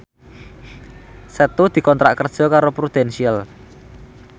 Setu dikontrak kerja karo Prudential